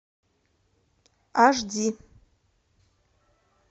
аш ди